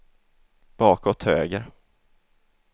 bakåt höger